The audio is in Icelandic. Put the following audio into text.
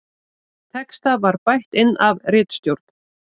Texta var bætt inn af ritstjórn